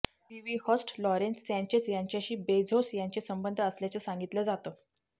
TV host Lauren सँचेझ यांच्याशी Bezos यांचे संबंध असल्याचं सांगितलं जातं